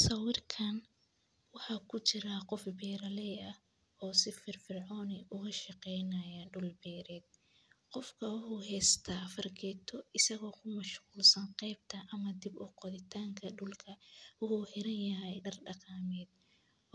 Sawirkan waxa ku jira qof beeraley ah oo si firfircoon u shaqeynayo beerta. Wuxuu haystaa fargeeto kuna mashquulsan dhib u qodidda dhulka. Wuxuu xiran yahay maro dhaqameed